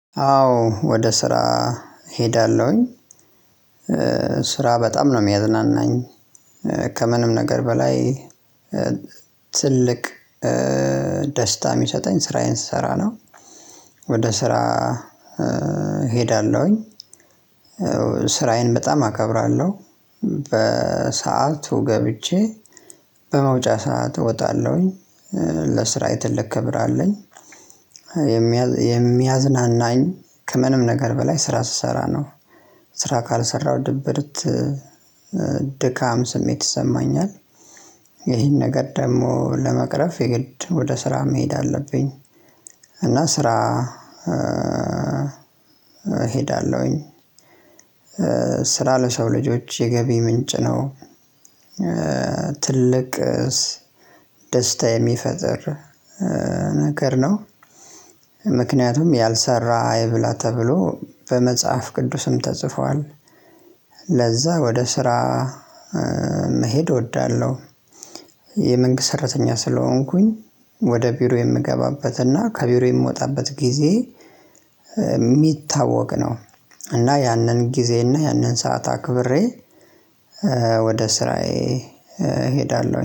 አዎ ወደ ስራ እሄዳለሁኝ። ስራ በጣም ነው የሚያዝናናኝ ከምንም ነገር በላይ ትልቅ ደስታ የሚሰጠኝ ስራዬን ስሰራ ነው። ወደ ስራ እሄዳለሁኝ። ስራዬን በጣም አከብራለሁ በሰአቱ ገብቼ በመውጫ ሰዓት እወጣለሁኝ ለስራዬ ትልቅ ክብር አለኝ። የሚያዝናናኝ ከምንም ነገር በላይ ስራ ስሰራ ነው። ስራ ካልሰራው ድብርት ድካም ስሜት ይሰማኛል። ይህን ነገር ደግሞ ለመቅረፍ የግድ ወደ ስራ መሄድ አለብኝ። እና ስራ እሄዳለሁኝ። ስራ ለሰው ልጆች የገቢ ምንጭ ነው። ትልቅስ ደስታ የሚፈጥር ነገር ነው። ምክንያቱም ያልሰራ አይብላ ተብሎ በመጽሐፍ ቅዱስም ተጽፏል። ለዛ ወደ ስራ መሄድ እወዳለሁ። የመንግስት ሰራተኛ ስለሆንኩኝ ወደ ቢሮ የምገባበትና ከቢሮ የምወጣበት ጊዜ የሚታወቅ ነው። እና ያንን ጊዜ እና ያንን ሰዓት አክብሬ ወደ ስራዬ እሄዳለሁ